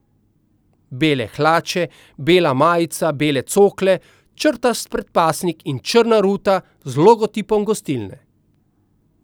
Bele hlače, bela majica, bele cokle, črtast predpasnik in črna ruta z logotipom gostilne.